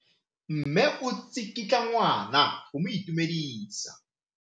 Mme o tsikitla ngwana go mo itumedisa.